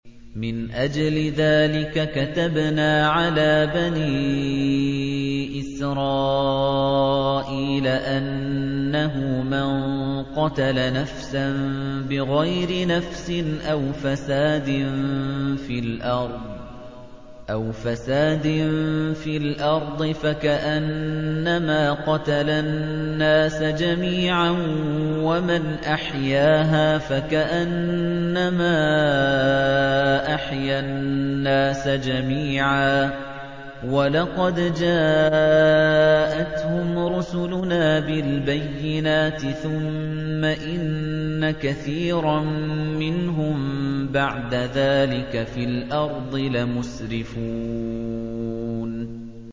مِنْ أَجْلِ ذَٰلِكَ كَتَبْنَا عَلَىٰ بَنِي إِسْرَائِيلَ أَنَّهُ مَن قَتَلَ نَفْسًا بِغَيْرِ نَفْسٍ أَوْ فَسَادٍ فِي الْأَرْضِ فَكَأَنَّمَا قَتَلَ النَّاسَ جَمِيعًا وَمَنْ أَحْيَاهَا فَكَأَنَّمَا أَحْيَا النَّاسَ جَمِيعًا ۚ وَلَقَدْ جَاءَتْهُمْ رُسُلُنَا بِالْبَيِّنَاتِ ثُمَّ إِنَّ كَثِيرًا مِّنْهُم بَعْدَ ذَٰلِكَ فِي الْأَرْضِ لَمُسْرِفُونَ